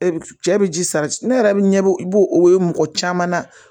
E bi cɛ bi ji sa ne yɛrɛ be ɲɛbɔ i b'o o ye mɔgɔ caman na